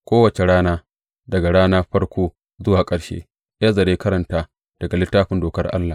Kowace rana, daga rana farko zuwa ƙarshe, Ezra ya karanta daga Littafin Dokar Allah.